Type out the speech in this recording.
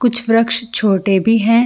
कुछ वृकछ छोटे भी है।